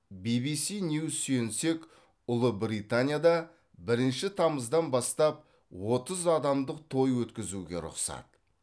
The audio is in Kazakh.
бибиси ньюс сүйенсек ұлыбританияда бірінші тамыздан бастап отыз адамдық той өткізуге рұқсат